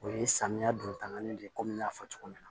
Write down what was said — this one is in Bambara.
O ye samiya don tangani de ye komi n y'a fɔ cogo min na